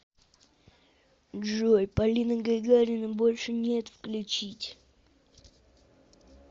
джой полина гагарина больше нет включить